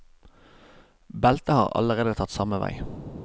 Beltet har allerede tatt samme vei.